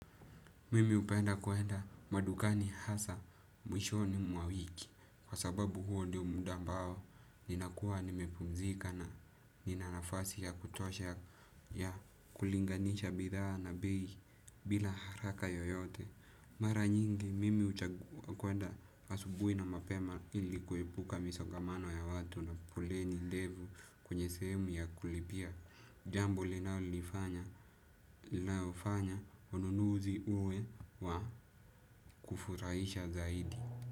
Mimi hupenda kwenda madukani hasaa mwishoni mwa wiki kwa sababu huo ndio muda ambao ninakua nimepumzika na ninanafasi ya kutosha ya kulinganisha bidhaa na bei bila haraka yoyote. Mara nyingi mimi huchagua kwenda asubuhi na mapema ilikuepuka misogamano ya watu na folleni ndefu kwenye sehemu ya kulipia jambo linalonifanya linaofanya ununuzi uwe wa kufurahisha zaidi.